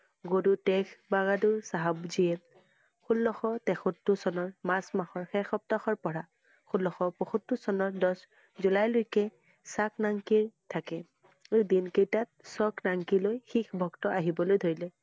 গুৰু টেগবাহাদুৰ চাহাব জীয়ে ষোল্লশ তেসত্তৰ চনৰ মাৰ্চ মাহৰ শেষ সপ্তাহৰ পৰা ষোল্লশ পসত্তৰ চনৰদহ জুলাইলৈকে থাকে । এই দিন কেইটাত লৈ শিখ ভক্ত আহিবলৈ ধৰিলে